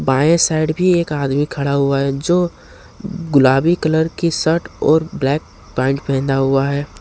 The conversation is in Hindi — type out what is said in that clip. बाये साइड भी एक आदमी खड़ा हुआ है जो गुलाबी कलर की शर्ट और ब्लैक पैंट पहना हुआ है।